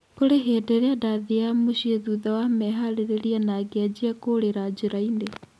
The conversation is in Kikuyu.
Kũrĩ ihinda rĩrĩa ndathiaga mũciĩ thutha wa meharĩrĩria na ngĩanjia kũrĩra njĩra-inĩ